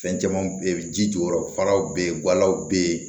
Fɛn caman bɛ yen ji jɔyɔrɔ farala bɛ yen gwalaw bɛ yen